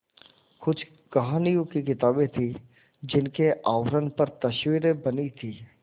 कुछ कहानियों की किताबें थीं जिनके आवरण पर तस्वीरें बनी थीं